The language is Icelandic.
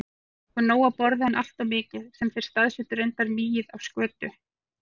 Þeir fengju nóg að borða, en alltof mikið- sem þeir stafsettu reyndar migið- af skötu.